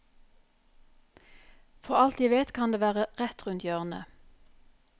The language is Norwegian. For alt jeg vet kan det være rett rundt hjørnet.